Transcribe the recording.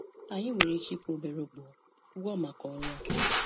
Anyị nwere ike ịkwụ obere ụgwọ ụgwọ maka ọrụ a.